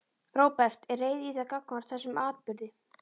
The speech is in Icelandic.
Róbert: Er reiði í þér gagnvart þessum atburði?